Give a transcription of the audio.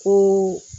Ko